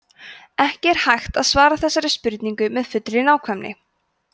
ekki er hægt að svara þessari spurningu með fullri nákvæmni